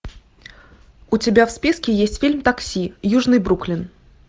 у тебя в списке есть фильм такси южный бруклин